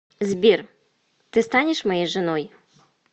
сбер ты станешь моей женой